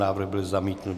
Návrh byl zamítnut.